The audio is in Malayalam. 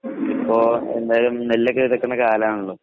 അപ്പോ എന്തായാലും നെല്ലൊക്കെ എടുക്കുന്ന കാലാണല്ലോ?